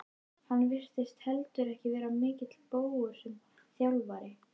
Hann virtist heldur ekki vera mikill bógur sem þjálfari.